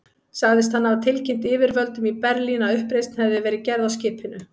Sagðist hann hafa tilkynnt yfirvöldum í Berlín, að uppreisn hefði verið gerð á skipinu.